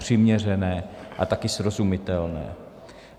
Přiměřené a také srozumitelné.